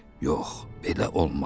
Yox, belə olmaz.